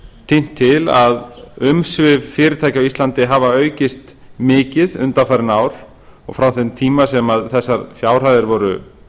tínt til að umsvif fyrirtækja á íslandi hafa aukist mikið undanfarin ár og frá þeim tíma sem þessar fjárhæðir voru